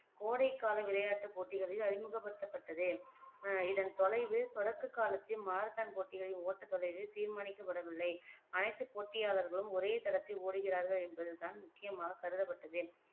கோடைகால விளையாட்டுப் போட்டிகளில் அறிமுகப்படுத்தப்பட்டது ஆஹ் இதன் தொலைவு தொடக்க காலத்தில் மாரத்தான் போட்டிகளின் ஓட்டத் தொலைவில் தீர்மானிக்கப்படவில்லை அனைத்துப் போட்டியாளர்களும் ஒரே தடத்தில் ஓடுகிறார்கள் என்பதுதான் முக்கியமாகக் கருதப்பட்டது